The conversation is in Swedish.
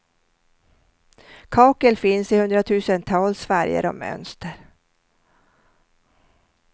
Kakel finns i hundratusentals färger och mönster.